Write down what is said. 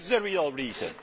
That is the real reason.